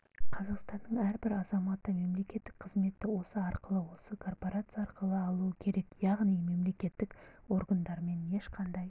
қазақстанның әрбір азаматы мемлекеттік қызметті осы арқылы осы корпорация арқылы алуы керек яғни мемлекеттік органдармен ешқандай